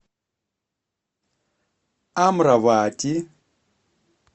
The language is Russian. амравати